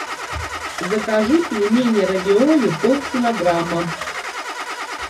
закажи пельмени равиоли пол килограмма